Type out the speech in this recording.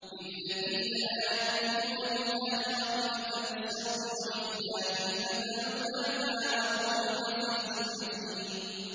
لِلَّذِينَ لَا يُؤْمِنُونَ بِالْآخِرَةِ مَثَلُ السَّوْءِ ۖ وَلِلَّهِ الْمَثَلُ الْأَعْلَىٰ ۚ وَهُوَ الْعَزِيزُ الْحَكِيمُ